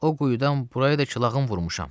o quyudan buraya da ki lağım vurmuşam.